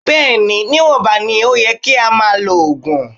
Bẹ́ẹ̀ ni, níwọ̀nba ni ó yẹ kí a máa lo oògùn.